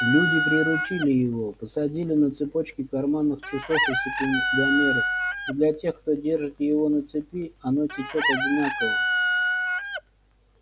люди приручили его посадили на цепочки карманных часов и секундомеров и для тех кто держит его на цепи оно течёт одинаково